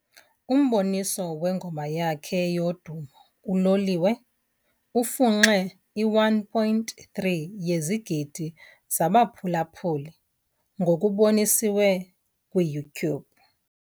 Umboniso wengoma yakhe yodumo, "uLoliwe", ufunxe i-1.3 yezigidi zabaphulaphuli ngokuboniswe kwi YouTube.